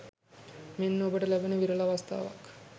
මෙන්න ඔබට ලැබෙන විරල අවස්ථාවක්.